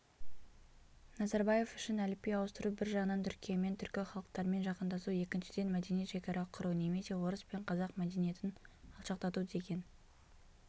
назарбаев үшін әліпби ауыстыру бір жағынан түркиямен түркі халықтарымен жақындасу екіншіден мәдени шекара құру немесе орыс пен қазақ мәдениетін алшақтату деген